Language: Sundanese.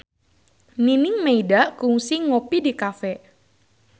Nining Meida kungsi ngopi di cafe